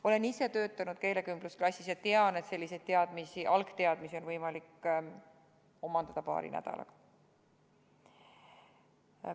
Olen ise töötanud keelekümblusklassis ja tean, et sellised algteadmised on võimalik omandada paari nädalaga.